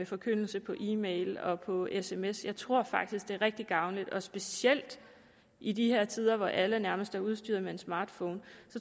forkyndelse på e mail og på sms jeg tror faktisk det er rigtig gavnligt specielt i de her tider hvor alle nærmest er udstyret med en smartphone